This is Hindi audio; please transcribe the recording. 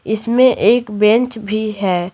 इसमें एक बेंच भी है।